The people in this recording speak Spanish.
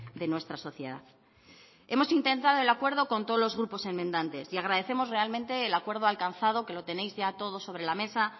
de nuestra sociedad hemos intentado el acuerdo con todos los grupos enmendantes y agradecemos realmente el acuerdo alcanzado que lo tenéis ya todos sobre la mesa